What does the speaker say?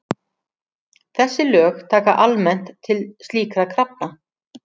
Þessi lög taka almennt til slíkra krafna.